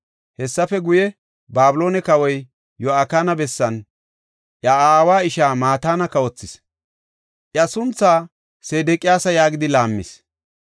Hessafe guye, Babiloone kawoy Yo7akina bessan iya aawa ishaa Mataana kawothis; iya sunthaa Sedeqiyaasa yaagidi laammis.